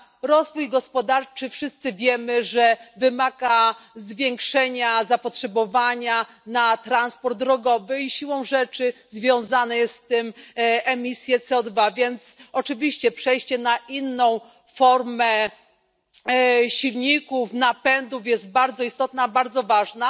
Rozwój gospodarczy, wszyscy wiemy, że wymaga zwiększenia zapotrzebowania na transport drogowy i siłą rzeczy związane są z tym emisje CO2, więc oczywiście przejście na inną formę silników, napędów jest bardzo istotne, bardzo ważne,